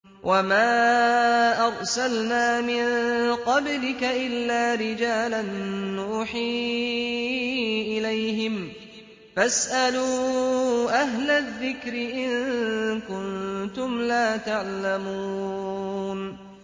وَمَا أَرْسَلْنَا مِن قَبْلِكَ إِلَّا رِجَالًا نُّوحِي إِلَيْهِمْ ۚ فَاسْأَلُوا أَهْلَ الذِّكْرِ إِن كُنتُمْ لَا تَعْلَمُونَ